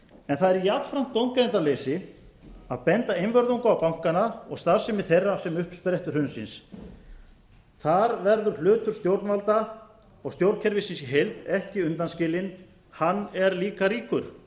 en það er jafnframt dómgreindarleysi að benda einvörðungu á bankana og starfsemi þeirra sem uppsprettu hrunsins þar verður hlutur stjórnvalda og stjórnkerfisins í heild ekki undanskilinn hann er líka ríkur